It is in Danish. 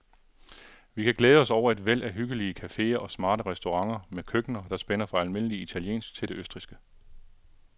Vi kan glæde os over et væld af hyggelige caféer og smarte restauranter med køkkener, der spænder fra almindelig italiensk til det østrigske.